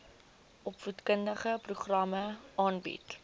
opvoedkundige programme aanbied